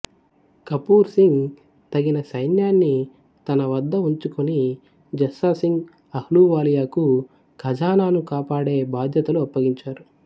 కపూర్ సింగ్ తగిన సైన్యాన్ని తనవద్ద ఉంచుకుని జస్సా సింగ్ అహ్లూవాలియాకు ఖజానాను కాపాడే బాధ్యతలు అప్పగించారు